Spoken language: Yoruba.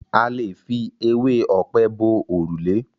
A lè fi ewé ọ̀pẹ bo òrùlé.